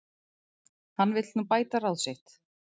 Hann vill nú bæta ráð sitt